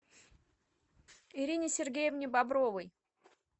ирине сергеевне бобровой